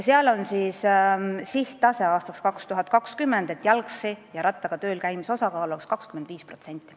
Seal on aastaks 2020 seatud sihttase, et jalgsi ja rattaga tööl käimise osakaal oleks 25%.